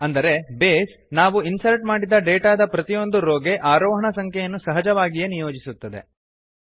ಅಂದರೆ ಬೇಸ್ ನಾವು ಇನ್ಸರ್ಟ್ ಮಾಡಿದ ಡೇಟಾದ ಪ್ರತಿಯೊಂದು ರೋ ಗೆ ಆರೋಹಣ ಸಂಖ್ಯೆಯನ್ನು ಸಹಜವಾಗಿಯೇ ನಿಯೋಜಿಸುತ್ತದೆ